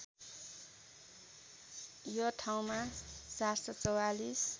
यो ठाउँमा ७४४